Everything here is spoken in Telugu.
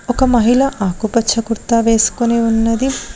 ఒక మహిళ ఆకుపచ్చ కుర్తా వేసుకొని ఉన్నది.